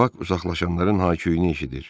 Bak uzaqlaşanların ha küüyünü eşidirdi.